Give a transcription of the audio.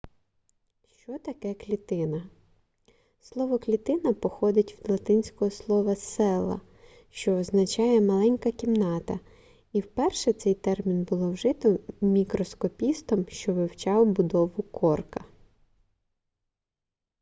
що таке клітина слово клітина походить від латинського слова cella що означає маленька кімната і вперше цей термін було вжито мікроскопістом що вивчав будову корка